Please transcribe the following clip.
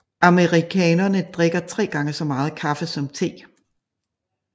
Amerikanere drikker tre gange så meget kaffe som te